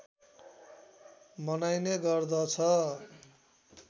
मनाइने गर्दछ